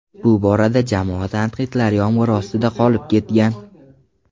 Bu borada jamoa tanqidlar yomg‘iri ostida qolib ketgan.